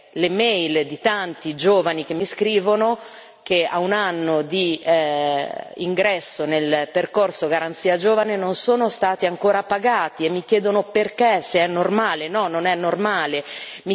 Ti farò avere le mail di tanti giovani che mi scrivono che, a un anno di ingresso nel percorso Garanzia giovane, non sono stati ancora pagati e mi chiedono perché e se è normale.